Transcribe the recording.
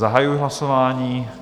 Zahajuji hlasování.